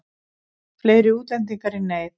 Fleiri útlendingar í neyð